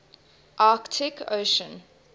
arctic ocean